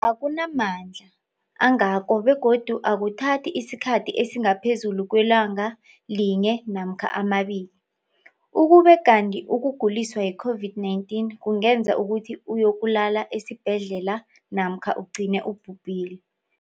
akuna mandla angako begodu akuthathi isikhathi esingaphezulu kwelanga linye namkha mabili, ukube kanti ukuguliswa yi-COVID-19 kungenza ukuthi uyokulala esibhedlela namkha ugcine ubhubhile.